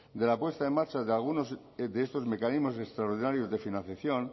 de la puesta en marcha de algunos de estos mecanismos extraordinarios de financiación